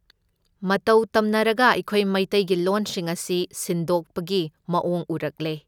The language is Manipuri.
ꯃꯇꯧ ꯇꯝꯅꯔꯒ ꯑꯩꯈꯣꯢ ꯃꯩꯇꯩꯒꯤ ꯂꯣꯟꯁꯤꯡ ꯑꯁꯤ ꯁꯤꯟꯗꯣꯛꯄꯒꯤ ꯃꯑꯣꯡ ꯎꯔꯛꯂꯦ꯫